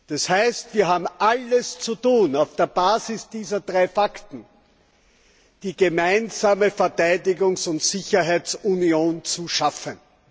Das heißt, wir haben alles zu tun, um auf der Basis dieser drei Fakten die gemeinsame Verteidigungs und Sicherheitsunion zu schaffen.